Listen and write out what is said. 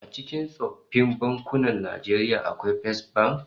A cikin tsoffin bankunan Najeriya akwai Fesbank